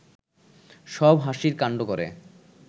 সব হাসির কাণ্ড করে